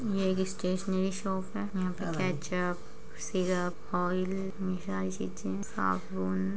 ये stationery shop है यहां पर केचप सिरप ऑइल साबुन --